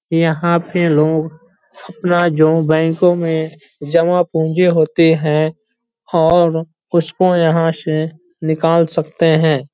यहाँ पे लोग अपना जो बैंकों में जमा पूंजी होती है और उसको यहाँ से निकाल सकते हैं।